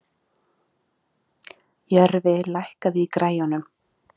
Jörfi, lækkaðu í græjunum.